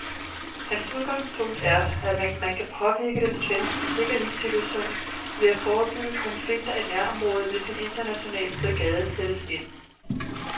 Hans udgangspunkt er, at man kan påvirke den svenske sikkerhedssituation ved at forebygge konflikter i nærområdet, hvis en international brigade sættes ind.